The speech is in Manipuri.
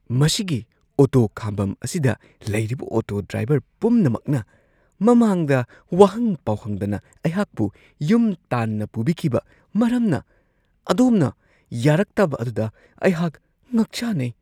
ꯃꯁꯤꯒꯤ ꯑꯣꯇꯣ ꯈꯥꯝꯕꯝ ꯑꯁꯤꯗ ꯂꯩꯔꯤꯕ ꯑꯣꯇꯣ ꯗ꯭ꯔꯥꯏꯕꯔ ꯄꯨꯝꯅꯃꯛꯅ ꯃꯃꯥꯡꯗ ꯋꯥꯍꯪ-ꯄꯥꯎꯍꯪꯗꯅ ꯑꯩꯍꯥꯛꯄꯨ ꯌꯨꯝ ꯇꯥꯟꯅ ꯄꯨꯕꯤꯈꯤꯕ ꯃꯔꯝꯅ ꯑꯗꯣꯝꯅ ꯌꯥꯔꯛꯇꯕ ꯑꯗꯨꯗ ꯑꯩꯍꯥꯛ ꯉꯛꯆꯥꯟꯅꯩ ꯫ (ꯄꯦꯁꯦꯟꯖꯔ)